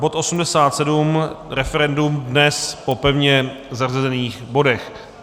Bod 87 - referendum - dnes po pevně zařazených bodech.